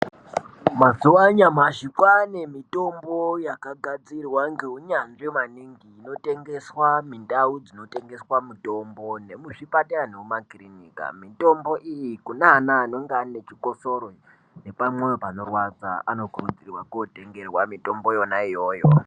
Mazuwa anyamashi kwaane mitombo yakagadzirwa ngeunyanzvi maningi, inotengeswa mindau dzinotengeswa mitombo, nemuzvipatara nemumakirinika. Mitombo iyi kune ana anonga ane chikosoro ,nepamwoyo panorwadza, anokurudzirwa kootengerwa mitombo yona iyoyo.